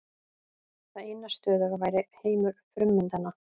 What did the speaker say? Það eina stöðuga væri heimur frummyndanna.